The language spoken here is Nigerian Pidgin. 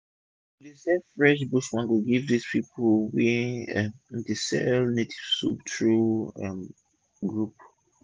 we dey supply fresh bush mango give dis pipu wey um dey sell native soup through our um group